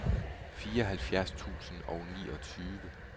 fireoghalvfjerds tusind og niogtyve